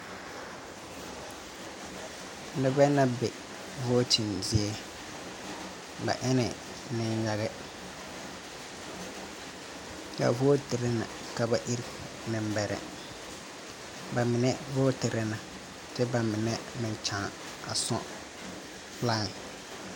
Nebɛ na be vooten zie. Ba ene neyage. Ba vootere na ka ba irr nebɛrɛ. Ba mene vooterɛ na kyɛ ba mene meŋ kyaa a sɔg lain